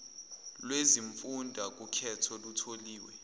lwezimfunda kukhetho lutholiwe